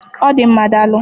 Ọ dị mma, daalụ.